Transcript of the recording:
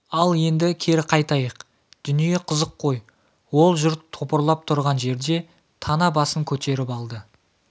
ал енді кері қайтайық дүние қызық қой ол жұрт топырлап тұрған жерде тана басын көтеріп алды